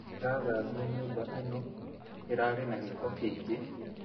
Ndĩrathambia nyũma ĩno, ĩrarĩ na gĩko kĩingĩ